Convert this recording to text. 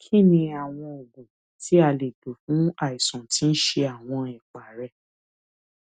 kí ni oògùn tí a lè lò fún àìsàn tí ń ṣe àwọn ẹpá rẹ